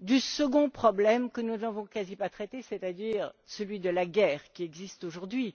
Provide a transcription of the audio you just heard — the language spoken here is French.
du second problème, que nous avons à peine abordé, à savoir celui de la guerre qui sévit aujourd'hui,